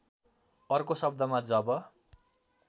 अर्को शब्दमा जब